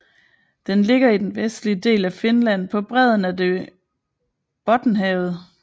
Den ligger i den vestlige del af Finland på bredden af det Bottenhavet